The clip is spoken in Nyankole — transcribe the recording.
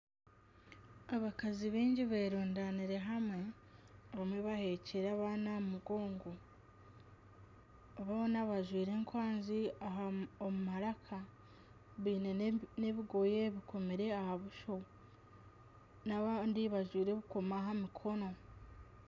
Abakazi baingi beerundanire hamwe bamwe baheekire abaana aha mugongo. Boona bajwaire enkwanzi omu maraka. Baine n'ebigoye bikomire aha buso n'abandi bajwaire ebikomo aha mikono.